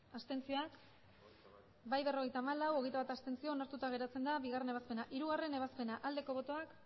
abstenzioak emandako botoak hirurogeita hamabost bai berrogeita hamalau abstentzioak hogeita bat onartuta geratzen da bigarrena ebazpena hirugarrena ebazpena aldeko botoak